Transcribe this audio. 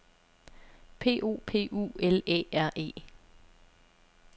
P O P U L Æ R E